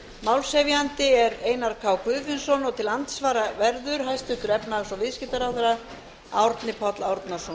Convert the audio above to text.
málshefjandi er háttvirtur þingmaður einar k guðfinnsson og til andsvara verður hæstvirtur efnahags og viðskiptaráðherra árni páll árnason